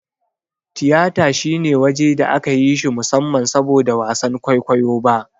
Tiyata shine waje da aka yi shi musamman saboda wasan kwaikwayo ba.